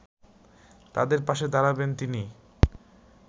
তাঁদের পাশে দাঁড়বেন তিনি